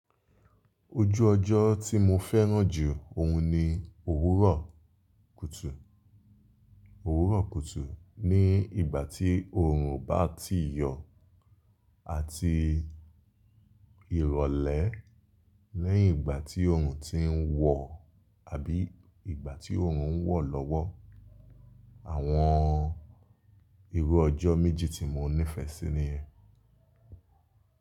Ojú ọjọ́ tí mo fẹ́ràn jù òun ni òwúrọ̀ kùtù. Òwúrọ̀ kùtù ni ìgbà tí oòrùn bá ti yọ àti ìrọ̀lẹ́ lẹ́yìn ìgbà tí oòrùn ti ń wọ̀ àbí ìgbà tí oòrùn ń wọ̀ lọ́wọ́. Àwọn irú ọjọ́ méjì tí mo nífẹ̀ẹ́ sí niyen.